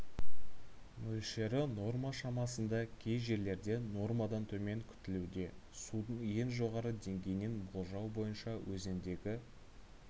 мөлшері норма шамасында кей жерлерде нормадан төмен күтілуде судың ең жоғары деңгейін болжау бойынша өзендегі